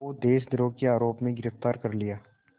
को देशद्रोह के आरोप में गिरफ़्तार कर लिया